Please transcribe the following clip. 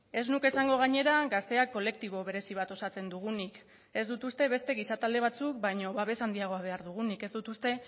ez nuke esango gainera gazteak kolektibo berezi bat osatzen dugunik ez dut uste beste gizatalde batzuk baino babes handiagoa behar dugunik ez dut uste